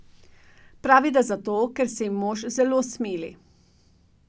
Pravi, da zato, ker se ji mož zelo smili.